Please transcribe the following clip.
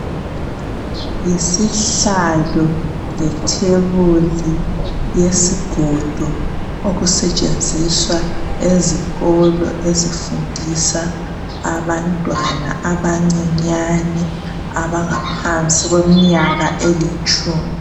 yisihlalo letebuli yesigodo okusetshnziswa ezikolo ezifundisa abantwana abancinyane abangaphansi kweminyaka elitshumi